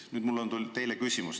Nüüd, mul on teile küsimus.